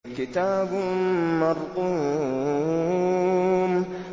كِتَابٌ مَّرْقُومٌ